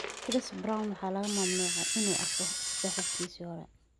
Chris Brown waxaa laga mamnuucay 'inuu arko' saaxiibtiisii ​​hore